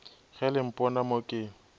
ge le mpona mo ke